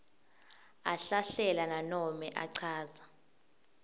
ahlahlela nanobe achaza